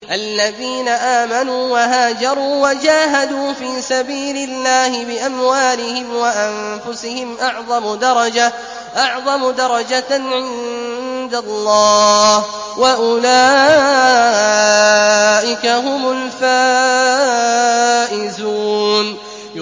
الَّذِينَ آمَنُوا وَهَاجَرُوا وَجَاهَدُوا فِي سَبِيلِ اللَّهِ بِأَمْوَالِهِمْ وَأَنفُسِهِمْ أَعْظَمُ دَرَجَةً عِندَ اللَّهِ ۚ وَأُولَٰئِكَ هُمُ الْفَائِزُونَ